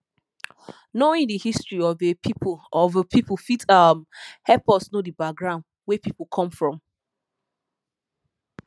knowing di history of a pipu of a pipu fit um help us know di background wey pipu come from